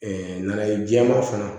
nanaye jɛma fana